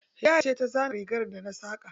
Hidaya ce ta zana rigar da na saka.